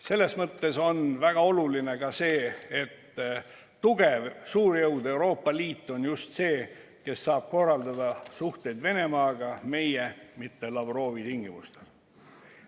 Selles mõttes on väga oluline ka see, et tugev suurjõud Euroopa Liit on just see, kes saab korraldada suhteid Venemaaga meie, mitte Lavrovi tingimustel.